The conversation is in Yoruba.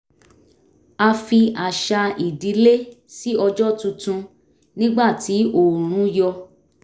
a fi àṣà ìdílé ṣí ọjọ́ tuntun nígbà tí oòrùn yọ̀